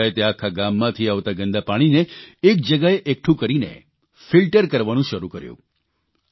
ગ્રામપંચાયતે આખા ગામમાંથી આવતા ગંદા પાણીને એક જગ્યાએ એકઠું કરીને ફીલ્ટર કરવાનું શરૂ કર્યું